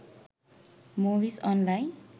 movies online